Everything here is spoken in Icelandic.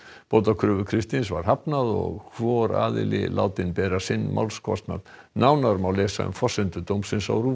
bótakröfu Kristins var hafnað og hvor aðili látinn bera sinn málskostnað nánar má lesa um forsendur dómsins á